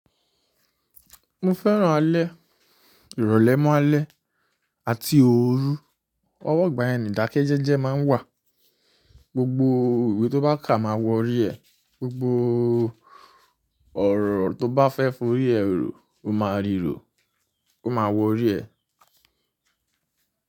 Mo fẹ́ràn alẹ́, ìrọ̀lẹ́ mọ́ alẹ́ àti ooru. Ọwọ́ igbà yẹn ni ìdákẹ́ jẹ́jẹ́ máa ń wà. Gbogbo iwe tó bá kà máa wọrí ẹ. Gbogbo ọ̀rọ̀ tó bá fẹ́ fo orí ẹ rò ó máa ríro, ó máa wọ orí ẹ.